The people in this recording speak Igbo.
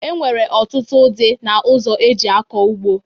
E nwere ọtụtụ udị na ụzọ e ji akọ ugbo.